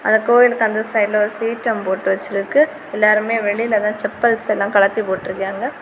அந்த கோவிலுக்கு அந்த சைடுல ஒரு சீட்டும் போட்டு வச்சிருக்கு எல்லாருமே வெளியிலதன் சப்பல்செல்லம் கலடி போட்டுயிருக்காக.